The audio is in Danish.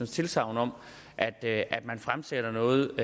tilsagn om at at man fremsætter noget